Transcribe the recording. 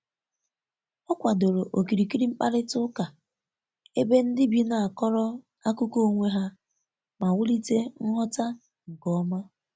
Ọ kwadoro okirikiri mkparita uka ebe ndi bi na-akọrọ akụko onwe ha ma wulite nghọta nke ọma.